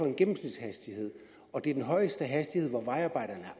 en gennemsnitshastighed og det er den højeste hastighed hvor vejarbejderne